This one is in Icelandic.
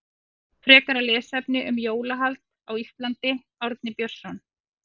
Frekara lesefni um jólahald á Íslandi Árni Björnsson.